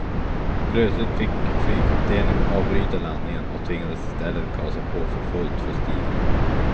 Plötsligt fick flygkaptenen avbryta landningen och tvingades i stället gasa på för fullt för stigning.